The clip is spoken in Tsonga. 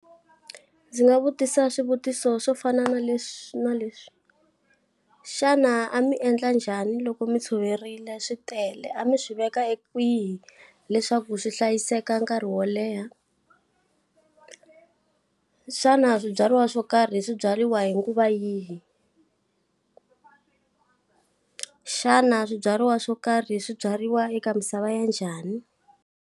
Ndzi nga vutisa swivutiso swo fana na leswi na leswi. Xana a mi endla njhani loko mi tshoverile swi tele, a mi swi veka kwihi leswaku swi hlayiseka nkarhi wo leha? Xana swibyariwa swo karhi swi byariwa hi nguva yihi? xana swibyariwa swo karhi swibyariwa eka misava ya njhani?